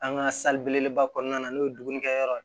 An ka belebeleba kɔɔna na n'o ye dumunikɛ yɔrɔ ye